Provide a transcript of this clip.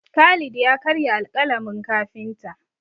Khalid ya karya alƙalamin kafinta.